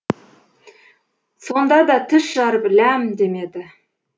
сонда да тіс жарып ләм демеді